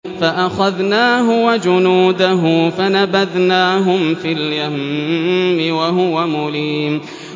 فَأَخَذْنَاهُ وَجُنُودَهُ فَنَبَذْنَاهُمْ فِي الْيَمِّ وَهُوَ مُلِيمٌ